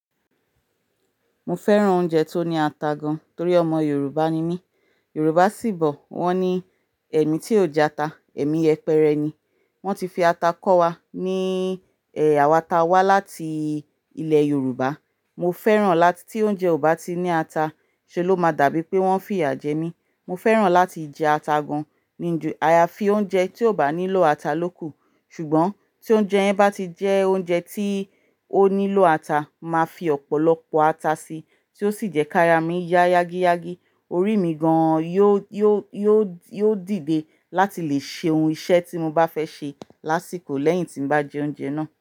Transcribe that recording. Mo fẹ́ràn oúnjẹ tó ní ata gan, torí ọmọ Yorùbá ni mí. Yorùbá sì bọ̀, wọ́n ní "Ẹ̀mí tí ò jẹ ata, ẹ̀mí yepẹ́rẹ́ ni". Wọ́n ti fi ata kọ́ wa ní, ẹ, àwa ta wá láti ilẹ̀ Yorùbá. Mo fẹ́ràn láti tí oúnjẹ ò bá ti ní ata, ṣe ló máa dàbí pé wọ́n fìyà jẹ mí. Mo fẹ́ràn láti jẹ ata gan ní ju ayafi oúnjẹ tí ò bá nílò ata lóko. Ṣùgbọ́n tí oúnjẹ yẹn bá ti jẹ́ oúnjẹ tí ó nílò ata, màá fi ọ̀pọ̀lọpọ̀ ata sí, tí ó sì jẹ́ kárs mi yá yágíyágí, orí mi gan yó, yó, yó, yóò dìde láti lè ṣe ohun iṣẹ́ tí mo bá fẹ́ ṣe lásìkò lẹ́yìn tí mo bá jẹ oúnjẹ náà.